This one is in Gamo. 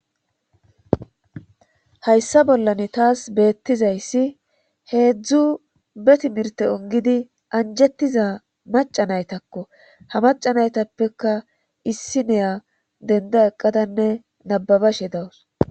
Hayssa bollan taas beettizayssi heedzdzu betimirte ongidi anjettiza maca naytakko ha macanaytappeka issi neya denda eqqadanne nababashe dawus.